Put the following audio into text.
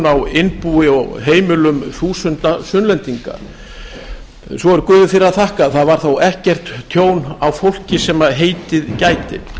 á innbúi og heimilum þúsund einstaklinga svo er góðu fyrir að þakka að það varð ekkert tjón á fólki sem heitið gæti